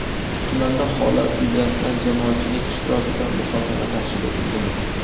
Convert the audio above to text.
tumanda holat yuzasidan jamoatchilik ishtirokida muhokama tashkil etilgan.